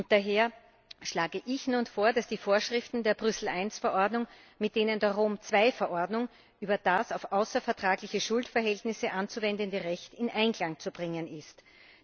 Daher schlage ich nun vor, dass die Vorschriften der Brüssel I Verordnung mit denen der Rom II Verordnung über das auf außervertragliche Schuldverhältnisse anzuwendende Recht in Einklang zu bringen sind.